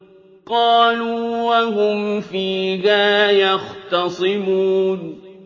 قَالُوا وَهُمْ فِيهَا يَخْتَصِمُونَ